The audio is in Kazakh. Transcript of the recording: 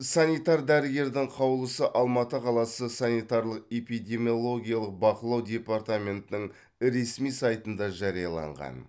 санитар дәрігердің қаулысы алматы қаласы санитарлық эпидемиологиялық бақылау департаментінің ресми сайтында жарияланған